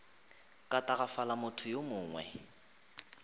ka tagafala motho yo mongwe